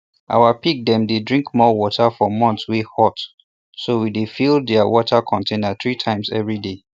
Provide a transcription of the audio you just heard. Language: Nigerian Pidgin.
our pig dem dey drink more water for months wey hot so we dey fill dia water container three times everyday